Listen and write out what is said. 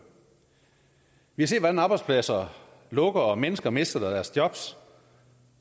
vi har set hvordan arbejdspladser lukker og mennesker mister deres job